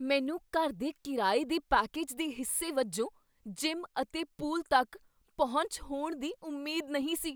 ਮੈਨੂੰ ਘਰ ਦੇ ਕਿਰਾਏ ਦੇ ਪੈਕੇਜ ਦੇ ਹਿੱਸੇ ਵਜੋਂ ਜਿਮ ਅਤੇ ਪੂਲ ਤੱਕ ਪਹੁੰਚ ਹੋਣ ਦੀ ਉਮੀਦ ਨਹੀਂ ਸੀ।